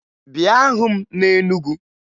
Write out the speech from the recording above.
Bịa hụ m na Enugu!